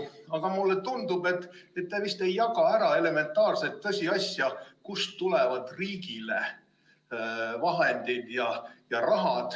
Aga mulle tundub, et te vist ei jaga ära elementaarset tõsiasja, kust tulevad riigile vahendid.